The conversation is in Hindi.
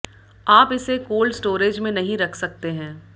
आप इसे कोल्ड स्टोरेज में नहीं रख सकते हैं